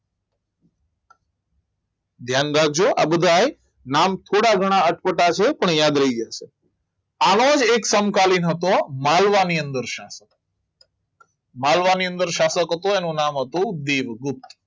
ધ્યાન રાખજો આ બધા નામ થોડા ઘણા અટપટા છે પણ યાદ રહી જશે આવો જ એક સમકાલીન હતો માલવા ની અંદર માલવાની અંદર શાસક હતો એનું નામ હતું દેવગુપ્ત